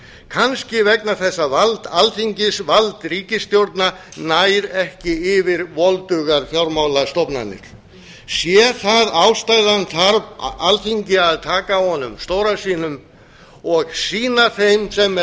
kannski vegna þess að vald alþingis vald ríkisstjórna nær ekki yfir voldugar fjármálastofnanir sé það ástæðan þarf alþingi að taka á honum stóra sínum og sýna þeim sem